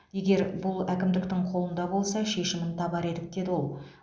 егер бұл әкімдіктің қолында болса шешімін табар едік деді ол